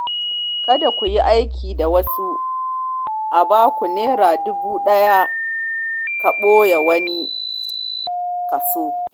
Kada ku yi aiki da wasu, a baku Naira dubu ɗaya ka ɓoye wani kaso.